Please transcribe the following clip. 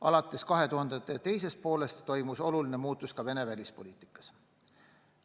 Alates 2000. aastate teisest poolest toimus oluline muutus ka Venemaa välispoliitikas.